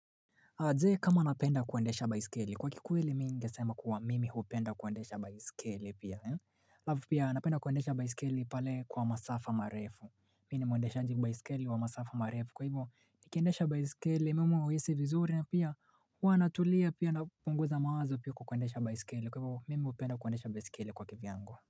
Wazee kama napenda kuwendesha baisikeli kwa kikweli mingesema kuwa mimi hupenda kuwendesha baisikeli pia. Alafu pia napenda kuwendesha baisikeli pale kwa masafa marefu. Mini muendeshaji baisikeli wa masafa marefu kwa hivyo nikiendesha baisikeli mimi huhisi vizuri na pia huwa na tulia pia napunguza mawazo pia kwa kuendesha baisikeli kwa hivyo mimi hupenda kuendesha baisikeli kwa kivyangu.